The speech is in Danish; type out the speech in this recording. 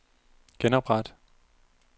genopret